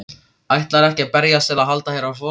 Ætlarðu ekki að berjast til að halda þér á floti?